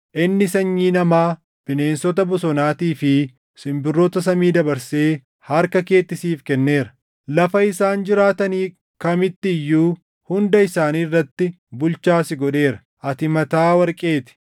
inni sanyii namaa, bineensota bosonaatii fi simbirroota samii dabarsee harka keetti siif kenneera. Lafa isaan jiraatani kamitti iyyuu hunda isaanii irratti bulchaa si godheera. Ati mataa warqee ti.